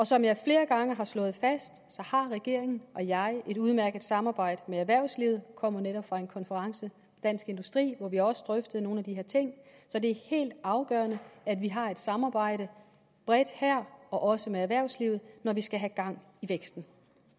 som jeg flere gange har slået fast har regeringen og jeg et udmærket samarbejde med erhvervslivet kommer netop fra en konference i dansk industri hvor vi også drøftede nogle af de her ting så det er helt afgørende at vi har et samarbejde bredt her og også med erhvervslivet når vi skal have gang i væksten